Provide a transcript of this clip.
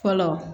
Fɔlɔ